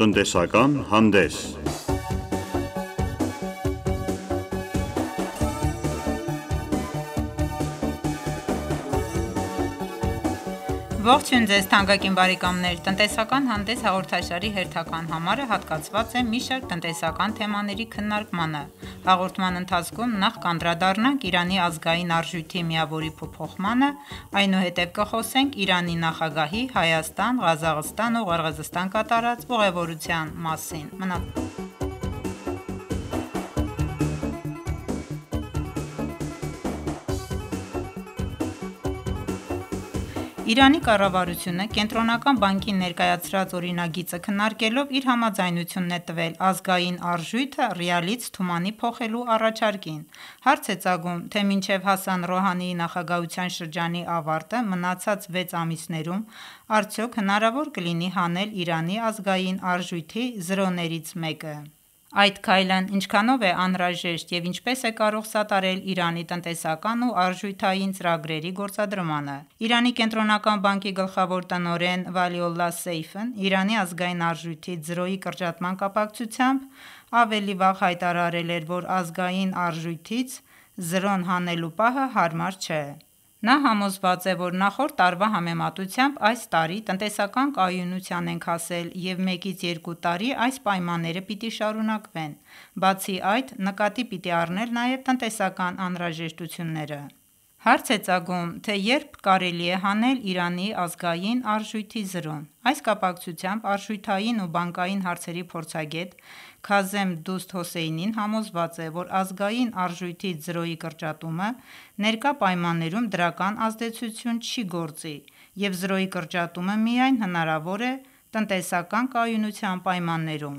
Տնտեսական հանդես Ողջույն թանկագին բարեկամներ: «Տնտեսական հանդես» հաղորդաշարի հերթական համարը հատկացված է մի շարք տնտեսական թեմաների քննարկմանը: Հաղորդման ընթացքում նախ կանդրադառնանք Իրանի ազգային արժույթի միավորի փոփոխմանը, այնուհետև կխոսենք Իրանի նախագահի Հայաստան, Ղազախստան ու Ղրղզստան կատարած ուղևորության մասին: Իրանի կառավարությունը կենտրոնական բանկի ներկայացրած օրինագիծը քննարկելով իր համաձայնությունն է տվել ազգային արժույթը ռիալից թումանի փոխելու առաջարկին: Հարց է ծագում, թե մինչև Հասան Ռոհանիի նախագահության շրջանի ավարտը մնացած վեց ամիսներում արդյոք հնարավոր կլինի հանել Իրանի ազգային արժույթի զրոներից մեկը: Այդ քայլն ինչքանով է անհրաժեշտ և ինչպես է կարող սատարել Իրանի տնտեսական ու արժութային ծրագրերի գործադրմանը: Իրանի կենտրոնական բանկի գլխավոր տնօրեն Վալիոլլահ Սեյֆն Իրանի ազգային արժույթից զրոյի կրճատման կապակցությամբ ավելի վաղ հայտարարել էր, որ ազգային արժույթից զրոն հանելու պահը հարմար չէ: Նա համոզված է, որ նախորդ տարվա համեմատությամբ այս տարի տնտեսական կայունության ենք հասել և մեկից երկու տարի այս պայմանները պիտի շարունակվեն: Բացի այդ նկատի պիտի առնել նաև տնտեսական անհրաժեշտությունները: Հարց է ծագում, թե երբ կարելի է հանել Իրանի ազգային արժույթի զրոն: Այս կապակցությամբ արժութային ու բանկային հարցերի փորձագետ Քազեմ Դուսթ Հոսեյնին համոզված է, որ ազգային արժույթից զրոյի կրճատումը ներկա պայմաններում դրական ազդեցություն չի գործի և զրոյի կրճատումը միայն հնարավոր է տնտեսական կայունության պայմաններում: